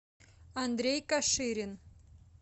андрей каширин